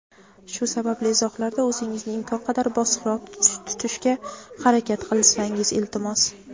Shu sababli izohlarda o‘zingizni imkon qadar bosiqroq tutishga harakat qilsangiz, iltimos.